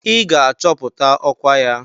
I ga-achọpụta ọkwa ya!